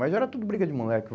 Mas era tudo briga de moleque.